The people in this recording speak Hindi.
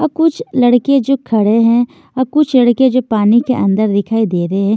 और कुछ लड़के जो खड़े हैं और कुछ लड़के जो पानी के अंदर दिखाई दे रहे है।